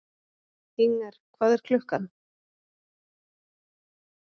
Inger, hvað er klukkan?